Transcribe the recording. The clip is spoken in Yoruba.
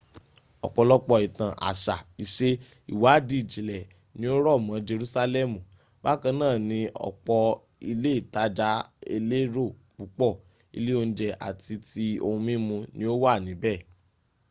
ọ̀pọ̀lọpọ̀ ìtàn àṣà ìṣe ìwádìí ìjìnlẹ̀ ni ó rọ̀ mọ́ jerúsálẹ́mù bákan náà ni ọ̀pọ̀ ilé ìtajà elérò púpọ̀ ilé oúnjẹ àti ti ohun mímu ni ó wà níbẹ